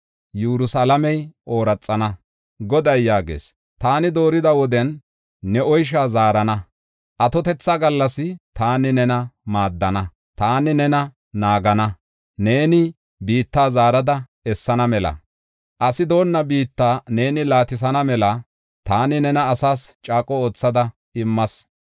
Goday yaagees; “Taani doorida woden ne oysha zaarana; atotetha gallas taani nena maadana. Taani nena naagana; neeni biitta zaarada essana mela; asi doonna biitta neeni laatisana mela taani nena asaas caaqo oothada immas.